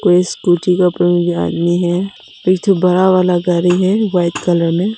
ये स्कूटी पर आदमी है पीछे बड़ा वाला गाड़ी है वाइट कलर में।